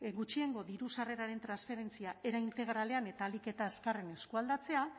gutxiengo diru sarreraren transferentzia era integralean eta ahalik eta azkarren eskualdatzea